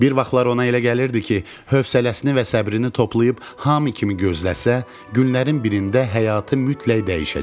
Bir vaxtlar ona elə gəlirdi ki, hövsələsini və səbrini toplayıb hamı kimi gözləsə, günlərin birində həyatı mütləq dəyişəcək.